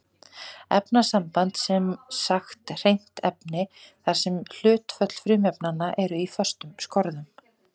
Efnasamband er sem sagt hreint efni þar sem hlutföll frumefnanna er í föstum skorðum.